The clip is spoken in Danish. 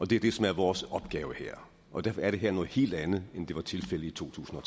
det er det som er vores opgave her og derfor er det her noget helt andet end det var tilfældet i totusinde og